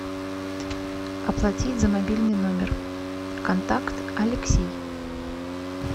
оплатить за мобильный номер контакт алексей